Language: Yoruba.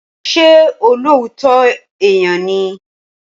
Ṣé olóòótọ́ èèyàn ni?